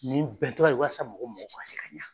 Nin bɛn tɔ ye walasa mɔgɔ mɔgɔ mako ka se ka ɲa